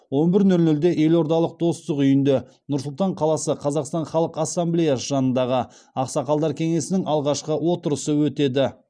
он бір нөл нөлде елордалық достық үйінде нұр сұлтан қаласы қазақстан халық ассамблеясы жанындағы ақсақалдар кеңесінің алғашқы отырысы өтеді